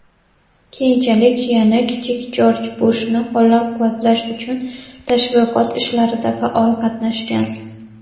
keyinchalik jiyani kichik Jorj Bushni qo‘llab-quvvatlash uchun tashviqot ishlarida faol qatnashgan.